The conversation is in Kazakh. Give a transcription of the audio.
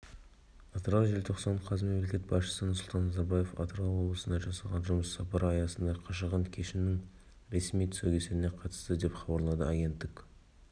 атырау желтоқсан қаз мемлекет басшысы нұрсұлтан назарбаев атырау облысына жасаған жұмыс сапары аясында қашаған кенішінің ресми тұсаукесеріне қатысты деп хабарлады агенттік